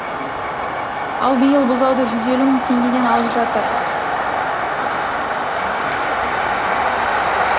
ал биыл бұзауды жүз елу мың теңгеден алып жатыр